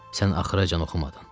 Sən axıracan oxumadın.